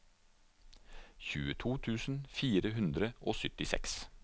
tjueto tusen fire hundre og syttiseks